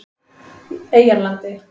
Eyjarlandi